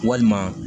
Walima